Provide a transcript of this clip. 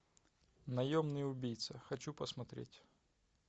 наемный убийца хочу посмотреть